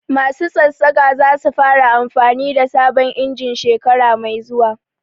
Masu Sassaƙa za su fara amfanin da sabon injin shekara mai zuwa